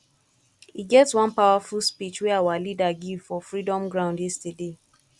e get one powerful speech wey our leader give for freedom ground yesterday